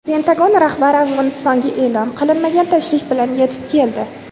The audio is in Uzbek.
Pentagon rahbari Afg‘onistonga e’lon qilinmagan tashrif bilan yetib keldi.